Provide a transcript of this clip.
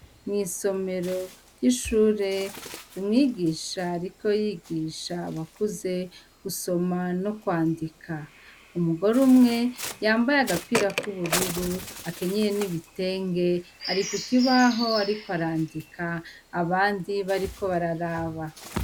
Mwisomero ry'ishure umwigisha ariko yigisha abakuze gusoma nokwandika, umugore umwe yambaye agapira k'ubururu akenyeye n'ibitenge ari kukibaho ariko arandika abandi bariko bararaba.